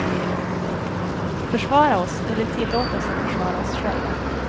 Försvara oss, eller tillåt oss att försvara oss själva.